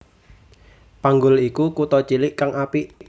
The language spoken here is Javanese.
Panggul iku kutha cilik kang apik